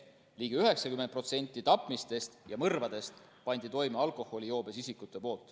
Ligi 90% tapmistest ja mõrvadest panid toime alkoholijoobes isikud.